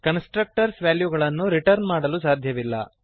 constructors ವ್ಯಾಲ್ಯೂಗಳನ್ನು return ಮಾಡಲು ಸಾಧ್ಯವಿಲ್ಲ